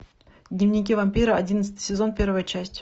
дневники вампира одиннадцатый сезон первая часть